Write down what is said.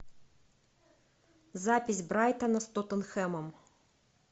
запись брайтона с тоттенхэмом